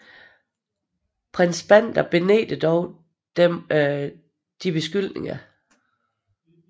Prins Bandar benægtede dog disse beskyldninger